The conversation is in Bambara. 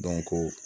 ko